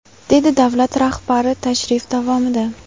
dedi davlat rahbari tashrif davomida.